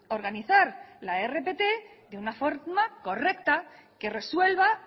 organizar la rpt de una forma correcta que resuelva